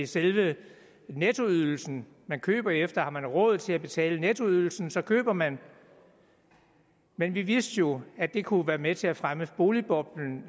selve nettoydelsen man køber efter har man råd til at betale nettoydelsen så køber man men vi vidste jo at det kunne være med til at fremme boligboblen